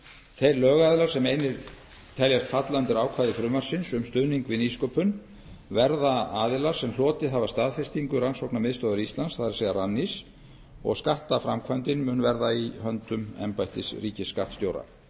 þeir lögaðilar sem einir teljast falla undir ákvæði frumvarpsins um stuðning við nýsköpun verða aðilar sem hlotið hafa staðfestingu rannsóknamiðstöðvar íslands það er rannís og skattaframkvæmdin mun verða í höndum embættis ríkisskattstjóra